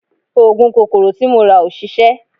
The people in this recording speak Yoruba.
Oògùn kòkòrò tí mo rà ò ṣiṣẹ́